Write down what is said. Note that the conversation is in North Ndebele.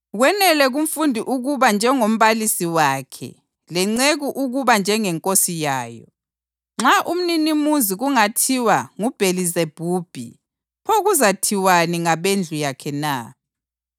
Kwenele kumfundi ukuba njengombalisi wakhe, lenceku ukuba njengenkosi yayo. Nxa umninimuzi kungathiwa nguBhelizebhubhi pho kuzathiwani ngabendlu yakhe na?